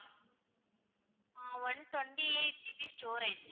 ah one twenty-eight GB storage